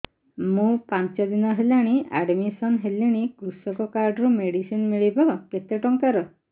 ମୁ ପାଞ୍ଚ ଦିନ ହେଲାଣି ଆଡ୍ମିଶନ ହେଲିଣି କୃଷକ କାର୍ଡ ରୁ ମେଡିସିନ ମିଳିବ କେତେ ଟଙ୍କାର